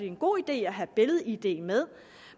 en god idé at have billed id med